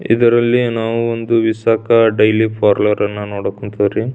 ಇದರಲ್ಲಿ ನಾವು ಒಂದು ವಿಷಕ ಡೈಲಿ ಪಾರ್ಲೆರ್ ಅನ್ನು ನೋಡಕ್ ಹೊಂಟಿವ್ ರೀ.